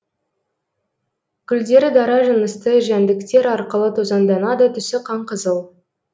гүлдері даражынысты жәндіктер арқылы тозаңданады түсі қанқызыл